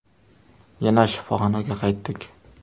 Yana shifoxonaga qaytdik.